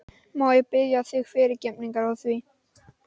Þórkell bauð þeim samstundis að koma í hús til sín.